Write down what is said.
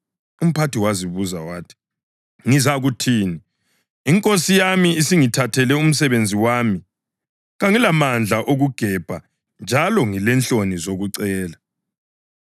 Umphathi wazibuza wathi, ‘Ngizakuthini? Inkosi yami isingithathela umsebenzi wami. Kangilamandla okugebha, njalo ngilenhloni zokucela.